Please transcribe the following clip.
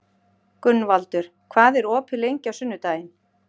Gunnvaldur, hvað er opið lengi á sunnudaginn?